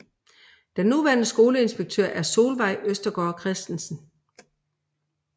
Den nuværende skoleinspektør er Solveig Østergaard Kristensen